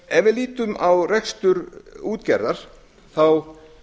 ef við lítum á rekstur útgerðar þá